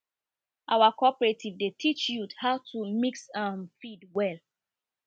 our cooperative dey teach youth how to mix um feed well